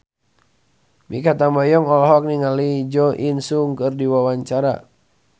Mikha Tambayong olohok ningali Jo In Sung keur diwawancara